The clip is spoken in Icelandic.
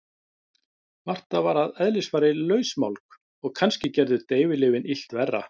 Marta var að eðlisfari lausmálg og kannski gerðu deyfilyfin illt verra.